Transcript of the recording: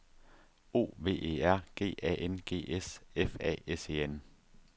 O V E R G A N G S F A S E N